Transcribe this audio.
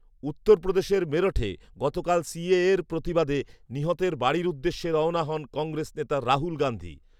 উত্তরপ্রদেশের মেরঠে গতকাল সিএএর প্রতিবাদে নিহতের বাড়ির উদ্দেশে রওনা হন কংগ্রেস নেতা রাহুল গান্ধী।